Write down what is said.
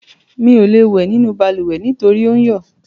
Mi ò lè wẹ̀ nínú balùwẹ̀ nítorí ò ń yọ̀.